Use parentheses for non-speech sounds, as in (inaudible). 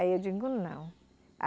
Aí eu digo não. (unintelligible)